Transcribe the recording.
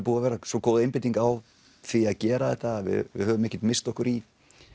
búið að vera svo góð einbeiting á því að gera þetta að við höfum ekkert misst okkur í